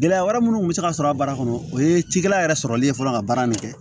Gɛlɛya wɛrɛ munnu kun be se ka sɔrɔ a baara kɔnɔ o ye cikɛla yɛrɛ sɔrɔli ye fɔlɔ ka baara nin kɛ